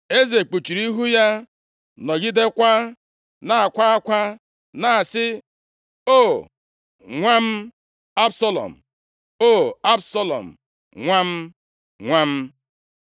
Eze kpuchiri ihu ya nọgidekwa na-akwa akwa na-asị, “O, nwa m Absalọm! O! Absalọm nwa m, nwa m!”